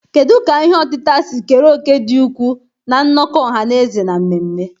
Kedu ka ihe otita si kere òkè dị ukwuu na nnọkọ ọha na eze na mmemme?